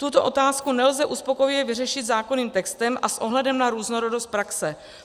Tuto otázku nelze uspokojivě vyřešit zákonným textem a s ohledem na různorodost praxe.